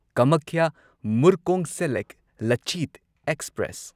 Kamakhya Murkongselek Lachit express